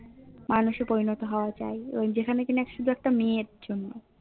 মানুষ এ পরিণত হওয়া যায় ওই যেখানে কিনা শুধু কিনা মেয়ের জম্ন